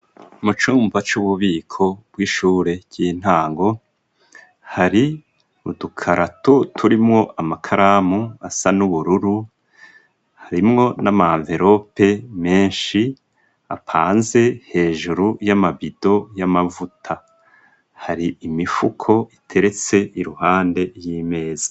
Mu cumba c'ububiko bw'ishure ry'intango hari udukaratu turimwo amakaramu asa n'ubururu harimwo n'ama verope menshi apanze hejuru y'amabido y'amavuta hari imifuko iteretse iruhande ry'imeza.